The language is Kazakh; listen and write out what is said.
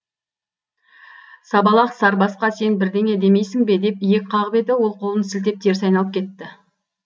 сабалақ сарбасқа сен бірдеңе демейсің бе деп иек қағып еді ол қолын сілтеп теріс айналып кетті